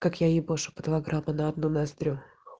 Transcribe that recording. как я ебашу по два грамма на одну ноздрю